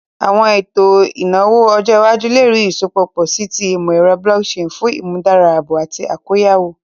Awọn eto eto inawo ọjọ iwaju le rii isọpọ pọ si ti imọ-ẹrọ blockchain fun imudara aabo ati akoyawo.